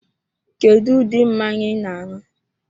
Kedu ụdị mmanya I na-anu?